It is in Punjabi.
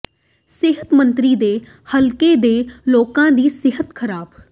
ਸਿਹਤ ਮੰਤਰੀ ਦੇ ਹਲਕੇ ਦੇ ਲੋਕਾਂ ਦੀ ਸਿਹਤ ਖ਼ਰਾਬ